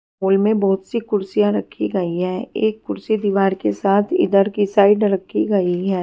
Hall मे बहुत सी कुर्सियां रखी गई है एक कुर्सी दीवार के साथ इधर के साइड रखी गई है।